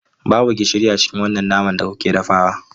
Babu gishiri a cikin wannan naman da kuke dafawa.